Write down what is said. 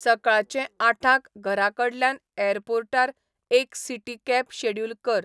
सकाळचें आठांक घराकडल्यान ऍरपोर्टार एक सिटी कॅब शॅड्युल कर